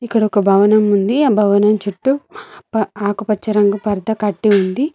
ఇక్కడ ఒక భవనం ఉంది ఆ భవనం చుట్టూ ఆకుపచ్చ రంగు పర్ద కట్టి ఉంది.